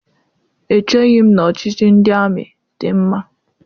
Echeghị m na ọchịchị ndị amị dị mma.